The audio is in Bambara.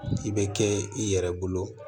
I bɛ kɛ i yɛrɛ bolo